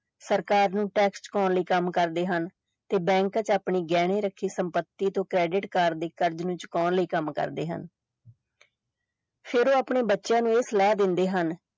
ਸਰਕਾਰ ਨੂੰ tax ਲਈ ਕੰਮ ਕਰਦੇ ਹਨ ਤੇ bank ਚ ਆਪਣੀ ਗਹਿਣੇ ਰੱਖੀ ਸੰਪੱਤੀ ਤੋਂ credit card ਦੀ ਕੱਡ ਨੂੰ ਛੁਪਾਉਣ ਲਈ ਕੰਮ ਕਰਦੇ ਹਨ ਫਿਰ ਉਹ ਆਪਣੇ ਬੱਚਿਆਂ ਨੂੰ ਇਹ ਸਲਾਹ ਦਿੰਦੇ ਹਨ।